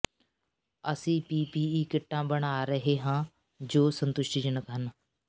ਅਸੀਂ ਪੀਪੀਈ ਕਿਟਾਂ ਬਣਾ ਰਹੇ ਹਾਂ ਜੋ ਸੰਤੁਸ਼ਟੀਜਨਕ ਹਨ